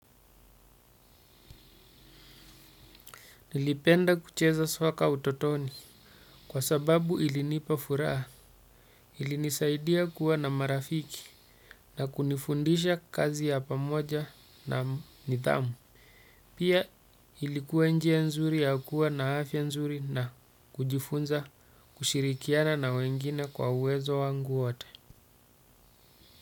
Nilipenda kucheza soccer utotoni kwasababu ilinipa furaha, ilinisaidia kuwa na marafiki na kunifundisha kazi ya pamoja na nidhamu. Pia ilikuwa njia nzuri ya kuwa na afya nzuri na kujifunza kushirikiana na wengine kwa uwezo wangu wote.